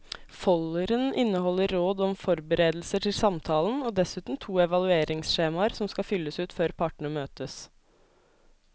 Folderen inneholder råd om forberedelser til samtalen og dessuten to evalueringsskjemaer som skal fylles ut før partene møtes.